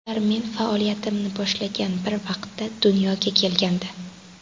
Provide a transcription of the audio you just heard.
Ular men faoliyatimni boshlagan bir vaqtda dunyoga kelgandi.